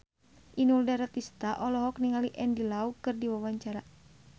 Inul Daratista olohok ningali Andy Lau keur diwawancara